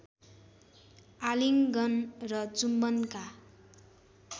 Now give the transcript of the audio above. आलिङ्गन र चुम्बनका